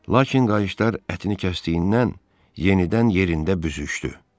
Lakin qayışlar ətini kəsdiyindən yenidən yerində büzüşdü.